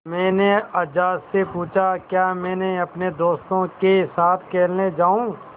मैंने अज्जा से पूछा क्या मैं अपने दोस्तों के साथ खेलने जाऊँ